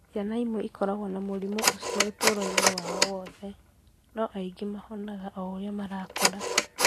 Ciana imwe ikoragwo na mũrimũ ũcio ũtũũro-inĩ wao wothe, no angĩ nĩ mahonaga o ũrĩa marakũra.